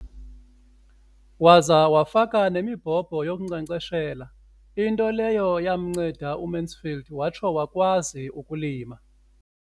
Waza wafaka nemibhobho yokunkcenkceshela, into leyo yanceda uMansfield watsho wakwazi ukulima.